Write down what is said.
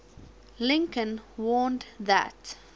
lincoln warned that